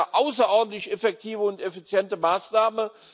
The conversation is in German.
Das ist eine außerordentlich effektive und effiziente Maßnahme.